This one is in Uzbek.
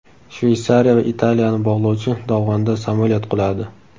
Shveysariya va Italiyani bog‘lovchi dovonda samolyot quladi.